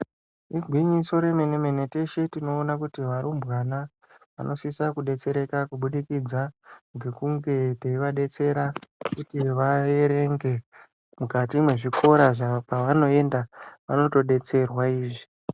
Igwinyiso remene mene teshe tinoona kuti varumbwana vanosise kudetsereka kubudikidza ngekunge teivabetsera kuti vaerenge mukati mwezvikora kwanoenda vanotodetserwa izvi.